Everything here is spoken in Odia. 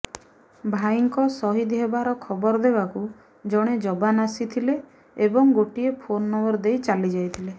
ଭାଇଙ୍କ ସହିଦ୍ ହେବାର ଖବର ଦେବାକୁ ଜଣେ ଯବାନ୍ ଆସିଥିଲେ ଏବଂ ଗୋଟିଏ ଫୋନ୍ ନମ୍ବର ଦେଇ ଚାଲିଯାଇଥିଲେ